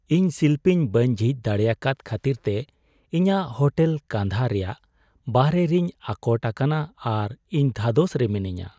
ᱤᱧ ᱥᱤᱞᱯᱤᱧ ᱵᱟᱹᱧ ᱡᱷᱤᱡ ᱫᱟᱲᱮᱭᱟᱠᱟᱫ ᱠᱷᱟᱹᱛᱤᱨᱛᱮ ᱤᱧᱟᱹᱜ ᱦᱳᱴᱮᱞ ᱠᱟᱸᱫᱷᱟ ᱨᱮᱭᱟᱜ ᱵᱟᱦᱚᱨᱮ ᱨᱤᱧ ᱟᱴᱚᱠ ᱟᱠᱟᱱᱟ ᱟᱨ ᱤᱧ ᱫᱷᱟᱫᱚᱥ ᱨᱮ ᱢᱤᱱᱟᱹᱧᱟ ᱾